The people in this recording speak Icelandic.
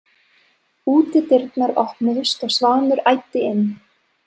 Útidyrnar opnuðust og Svanur æddi inn.